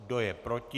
Kdo je proti?